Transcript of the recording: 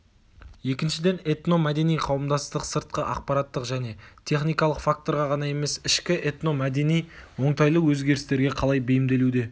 екіншіден этно-мәдени қауымдастық сыртқы ақпараттық және техникалық факторға ғана емес ішкі этно-мәдени оңтайлы өзгерістерге қалай бейімделуде